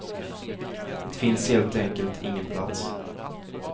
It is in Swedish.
Det finns helt enkelt ingen plats.